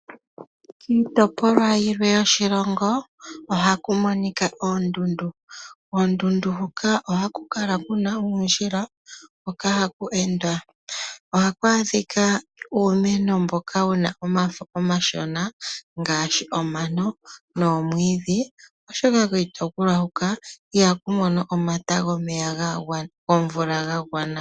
Kiitopolwa yilwe yoshilongo ohaku monika oondundu. Koondundu huka ohaku kala uundjila hoka haku endwa. Ohaku adhika uumeno mboka wu na omafo omashona ngaashi omano noomwiidhi, oshoka kiitopolwa huka ihaku mono omata gomvula ga gwana.